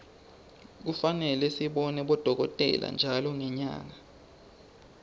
kufane sibone bodokotela ntjalo ngenyanga